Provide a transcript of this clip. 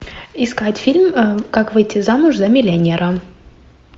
искать фильм как выйти замуж за миллионера